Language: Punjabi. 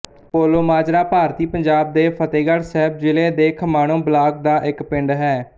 ਪੋਲੋਮਾਜਰਾ ਭਾਰਤੀ ਪੰਜਾਬ ਦੇ ਫ਼ਤਹਿਗੜ੍ਹ ਸਾਹਿਬ ਜ਼ਿਲ੍ਹੇ ਦੇ ਖਮਾਣੋਂ ਬਲਾਕ ਦਾ ਇੱਕ ਪਿੰਡ ਹੈ